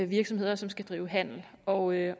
virksomheder som skal drive handel og